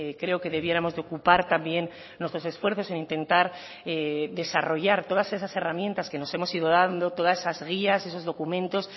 creo que debiéramos de ocupar también nuestros esfuerzos en intentar desarrollar todas esas herramientas que nos hemos ido dando todas esas guías esos documentos